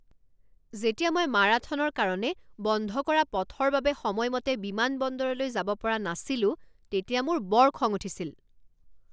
যেতিয়া মই মাৰাথনৰ কাৰণে বন্ধ কৰা পথৰ বাবে সময়মতে বিমানবন্দৰলৈ যাব পৰা নাছিলো তেতিয়া মোৰ বৰ খং উঠিছিল।